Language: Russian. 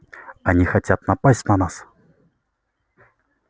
они хотят напасть на нас